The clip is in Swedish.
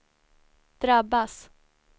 drabbas